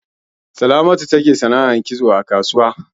Salamatu take sanar kitso ne a kasuwa.